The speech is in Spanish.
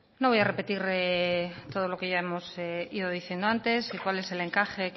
no voy a repetir todo lo que ya hemos ido diciendo antes y cuál es el encaje